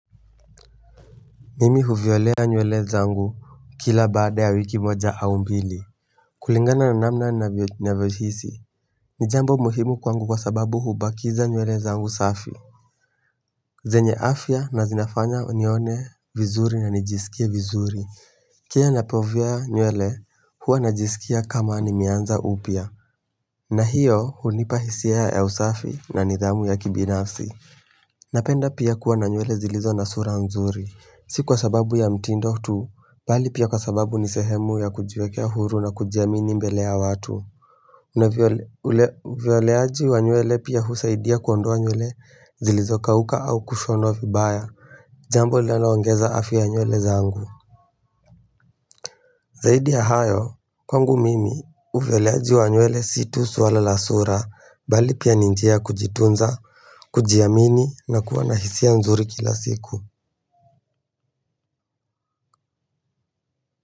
Mimi huviolea nywele zangu kila baada ya wiki moja au mbili kulingana na namna na vyohisi Nijambo muhimu kwangu kwa sababu hubakiza nywele zangu safi zenye afya na zinafanya nione vizuri na nijisikia vizuri kia napovya nywele huwa najiskia kama nimeanza upya na hiyo hunipa hisia ya usafi na nidhamu ya kibinafsi Napenda pia kuwa na nywele zilizo na sura nzuri Si kwa sababu ya mtindo tu, bali pia kwa sababu ni sehemu ya kujiwekea huru na kujiamini mbele ya watu Unavyoleaji wa nywele pia husaidia kuondoa nyule zilizokauka au kushonwa vibaya Jambo linaloongeza afya nywele zangu Zaidi ya hayo, kwangu mimi, uvyoleaji wa nywele si tu swala la sura, bali pia ni njia kujitunza, kujiamini na kuwa na hisia nzuri kila siku.